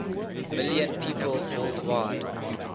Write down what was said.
million people worldwide